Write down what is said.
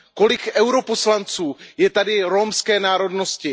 Kolik poslanců EP je tady romské národnosti?